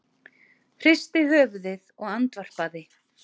Hristi höfuðið og andvarpaði.